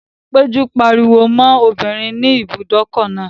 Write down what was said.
Péjú pariwo mọ́ obìnrin ní ibùdókọ̀ náà